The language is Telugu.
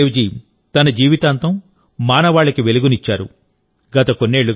గురునానక్ దేవ్ జీ తన జీవితాంతంమానవాళికి వెలుగునిచ్చారు